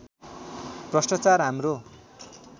भ्रष्ट्राचार हाम्रो